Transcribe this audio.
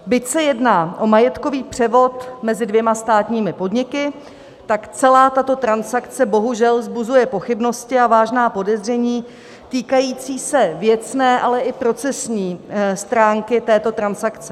Byť se jedná o majetkový převod mezi dvěma státními podniky, tak celá tato transakce bohužel vzbuzuje pochybnosti a vážná podezření týkající se věcné, ale i procesní stránky této transakce.